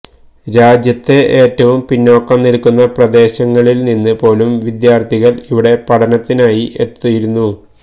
രാജ്യത്തെ ഏറ്റവും പിന്നോക്കം നിൽക്കുന്ന പ്രദേശങ്ങളിൽ നിന്ന് പോലും വിദ്യാർഥികൾ ഇവിടെ പഠനത്തിനായി എത്തിയിരുന്നു